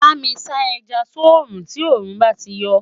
bámi sá ẹja sọ rún tí orun bá tí yo